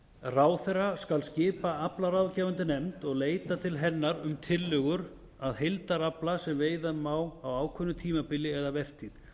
ráðherra skal skipa aflaráðgefandi nefnd og leita til hennar um tillögur að heildarafla sem veiða má á ákveðnu tímabili eða vertíð